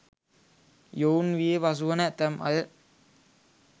යොවුන් වියේ පසුවන ඇතැම් අය